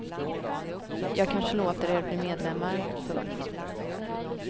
Jag kanske låter er bli medlemmar. punkt